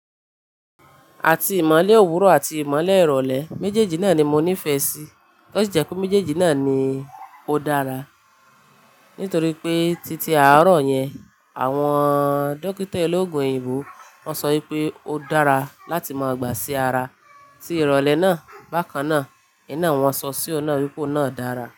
Àti ìmọ̀le òwúrọ̀ àti ìmọ̀le ìrọ̀lẹ́ méjèèjì náà ni mo nífẹ̀ẹ́ sí tosí jẹ́ pé méjèèjì náà ni ó dára. Nítorí pé títí àárọ̀ yẹn àwọn dókítà ológun òyìnbó wọ́n sọ wípé ó dára láti máa gbà sí ara tí ìrọ̀lẹ́ náà. Bákan náà, iná wọn sọ sí ọ̀nà wípé ọ̀nà dára.